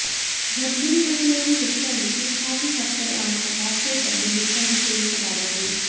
ಗರ್ಭಿಣಿ ಮಹಿಳೆಯರು ಹೆಚ್ಚಾಗಿ ಟೀ ಕಾಫಿ ಸಕ್ಕರೆ ಅಂಶ ಚಾಕೊಲೇಟ್ ಅನ್ನು ಹೆಚ್ಚಾಗಿ ಸೇವಿಸಬಾರದು